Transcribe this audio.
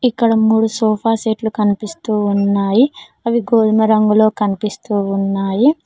ఇక్కడ మూడు sofa set లు కనిపిస్తూ ఉన్నాయి అవి గోధుమ రంగులో కనిపిస్తూ ఉన్నాయి.